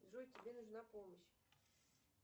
джой тебе нужна помощь